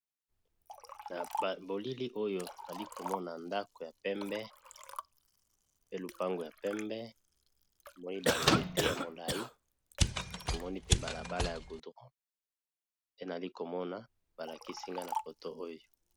Na bilili oyo nali ko mona ndako ya pembe pe lupango ya pembe, na moni ba nzete ya molayi na moni pe balabala ya goudron pe nali ko mona ba lakisi nga na photo oyo .